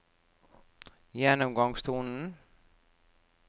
gjennomgangstonen